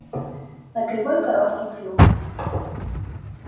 на кривой короткий клюв